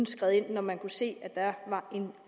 skride ind når man kunne se at der var en